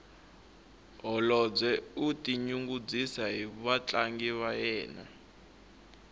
holobye u tinyungubyisa hi vatlangi va yena